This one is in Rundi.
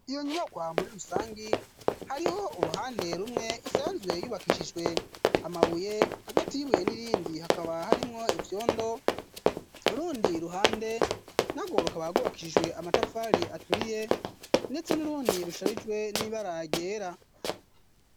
iyo nyubakwa muri rusangi, hariho uruhande rumwe isanzwe yubakishijwe amabuye, hagati yibuye n'irindi hakaba harimwo ivyondo ,rundi ruhande narwo rukaba hagubakishijwe amatafali aturiye ,ndetse n'urundi rusharijwe n'ibara ryera.